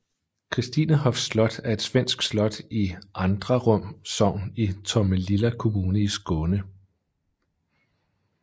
Christinehofs slot er et svensk slot i Andrarum sogn i Tomelilla kommune i Skåne